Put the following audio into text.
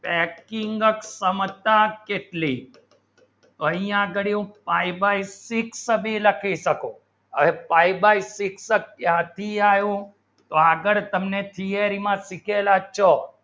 actually સમસ્યા કેટલી પૈય્યા ગળ્યું pie by six સભી લખી શકો તર pie by six ક્યાંથી આવ્યું તો અગર તમને theory માં શિકેલા છો